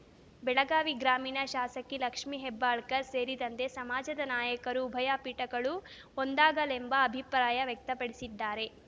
ಬೆಳಗಾವಿ ಗ್ರಾಮೀಣ ಶಾಸಕಿ ಲಕ್ಷ್ಮೀ ಹೆಬ್ಬಾಳ್ಕರ್‌ ಸೇರಿದಂತೆ ಸಮಾಜದ ನಾಯಕರು ಉಭಯ ಪೀಠಗಳು ಒಂದಾಗಲೆಂಬ ಅಭಿಪ್ರಾಯ ವ್ಯಕ್ತಪಡಿಸಿದ್ದಾರೆ